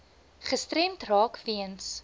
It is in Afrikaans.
gestremd raak weens